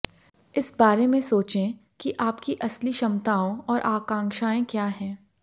इस बारे में सोचें कि आपकी असली क्षमताओं और आकांक्षाएं क्या हैं